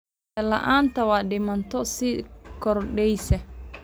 Biyo la'aanta waa dhibaato sii kordheysa.